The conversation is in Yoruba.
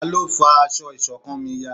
Talọ́ fá aṣọ iṣọ̀kan mí yá?